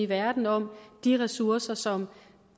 verden om de ressourcer som